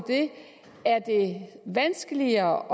det er vanskeligere